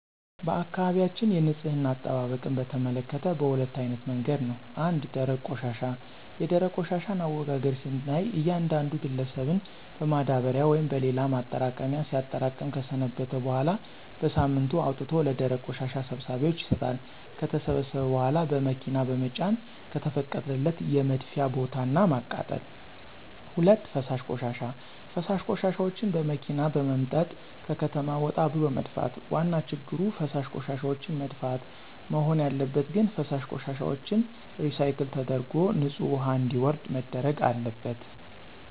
በአካባቢያችን የንፅህና አጠባበቅን በተመከተ በሁለት አይነት መንገድ ነው። ፩) ደረቅ ቆሻሻ፦ የደረቅ ቆሻሻን አወጋገድ ስናይ እያንዳንዱ ግለሰብን በማዳበሪያ ወይም በሌላ ማጠራቀሚያ ሲያጠራቅም ከሰነበተ በኋላ በሳምንቱ አውጥቶ ለደረቅ ቆሻሻ ሰብሳቢዎች ይሰጣሉ። ከተሰበሰበ በኋላ በመኪና በመጫን ከተፈቀደለት የመድፊያ ቦታ እና ማቃጠል። ፪) ፈሳሽ ቆሻሻ፦ ፈሳሽ ቆሻሻዎችን በመኪና በመምጠጥ ከከተማ ወጣ ብሎ መድፋት። ዋና ችግሩ ፈሳሽ ቆሻሻዎችን መድፋት? መሆን ያለበት ግን ፈሳሽ ቆሻሻዎችን ሪሳይክል ተደርጎ ንፅህ ውሀ እንዲወርድ መደረግ አለበት።